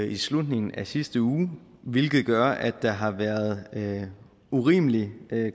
i slutningen af sidste uge hvilket gør at der har været været urimelig